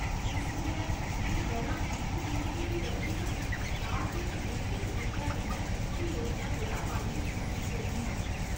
इस करियै, जे दरां इक फीसदी बी बधदियां न, तां तुस निश्चत रूपै कन्नै पिछली योजना कोला मायूस मसूस करगियां।